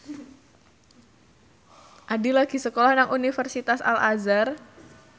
Addie lagi sekolah nang Universitas Al Azhar